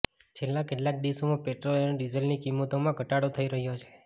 છેલ્લા કેટલાંક દિવસોમાં પેટ્રોલ અને ડીઝલની કિંમતોમાં ઘટાડો થઈ રહ્યો છે